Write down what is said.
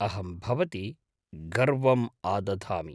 अहं भवति गर्वम् आदधामि।